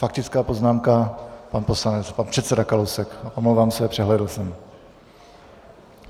Faktická poznámka - pan poslanec, pan předseda Kalousek, omlouvám se, přehlédl jsem.